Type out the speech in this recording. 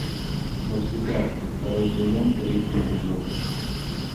во все тяжкие второй сезон третий эпизод